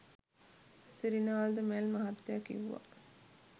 සිරිනාල් ද මැල් මහත්තයා කිව්වා.